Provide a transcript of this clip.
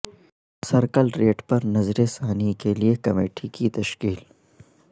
circle rate پر نظر ثانی کی لئے کمیٹی کی تشکیل